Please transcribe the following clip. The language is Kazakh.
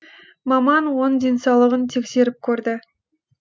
маман оның денсаулығын тексеріп көрді